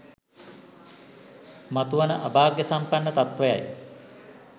මතුවන අභාග්‍යසම්පන්න තත්ත්වයයි